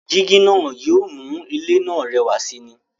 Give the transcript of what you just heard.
Jígí náà yóò mú ilé náà rẹwà sì ni.